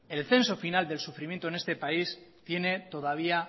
el censo final del sufrimiento en este país tiene todavía